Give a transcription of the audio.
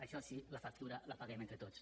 això sí la factura la paguem entre tots